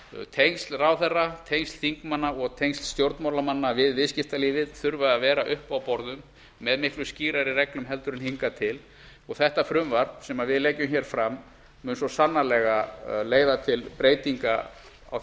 tengsl ráðherra tengsl þingmanna og tengsl stjórnmálamanna við viðskiptalífið þurfa að vera uppi á borðum með miklu skýrari reglum heldur en hingað til og þetta frumvarp sem við leggjum fram mun svo sannarlega leiða til breytinga á